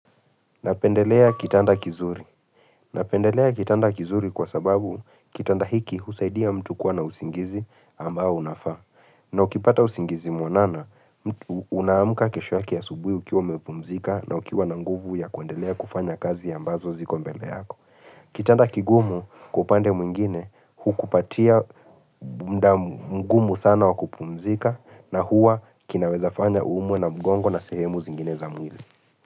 Napendelea kitanda kizuri. Napendelea kitanda kizuri kwa sababu kitanda hiki husaidia mtu kuwa na usingizi ambao unafaa. Na ukipata usingizi mwanana, unaamuka kesho yake asubuhi ukiwa umepumzika na ukiwa na nguvu ya kuendelea kufanya kazi ambazo ziko mbele yako. Kitanda kigumu kwa upande mwingine hukupatia muda mgumu sana wa kupumzika na huwa kinaweza fanya uumwe na mgongo na sehemu zingine za mwili.